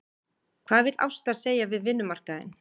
Hvað vill Ásta segja við vinnumarkaðinn?